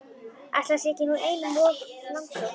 Ætli það sé nú ekki einum of langsótt!